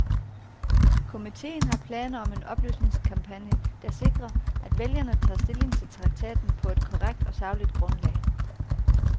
Komiteen har planer om en oplysningskampagne, der sikrer, at vælgerne tager stilling til traktaten på et korrekt og sagligt grundlag.